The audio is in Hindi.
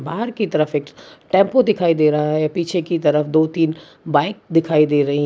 बाहर की तरफ एक टैम्पु दिखाई दे रहा है पीछे की तरफ दो तीन बाइक दिखाई दे रही है।